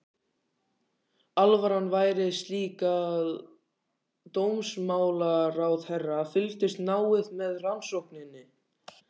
Alvaran væri slík að dómsmálaráðherra fylgdist náið með rannsókninni.